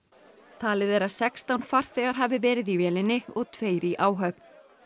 talið er að sextán farþegar hafi verið í vélinni og tveir í áhöfn